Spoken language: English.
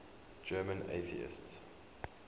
german atheists